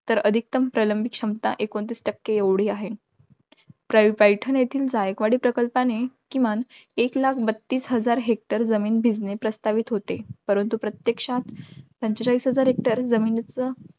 तर अधिकतम प्रलंबित क्षमता, एकोणतीस टक्के एवढी आहे. प्रा~ पैठण येथील जायकवाडी प्रकल्पाने, किमान एक लाख बत्तीस हजार hector जमीन भिजणे प्रस्थापित होते. परंतू प्रत्यक्षात पंचेचाळीस हजार hector जमीनीच